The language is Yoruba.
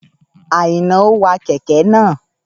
Àìná wa kẹ̀kẹ́ naa